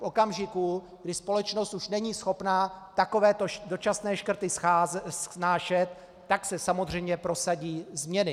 V okamžiku, kdy společnost už není schopná takovéto dočasné škrty snášet, tak se samozřejmě prosadí změny.